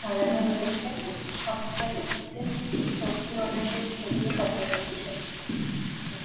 সাজানো রয়েছে অফিস এর মধ্যে লক্ষ্মী গনেশের ছবিও দেখা যাচ্ছে।